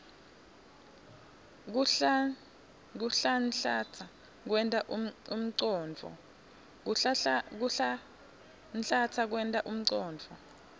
kuhlanhlatsa kwenta umcondvo